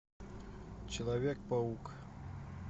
человек паук